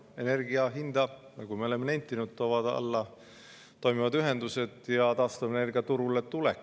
Energia hinda, nagu me oleme nentinud, toovad alla toimivad ühendused ja taastuvenergia turule tulek.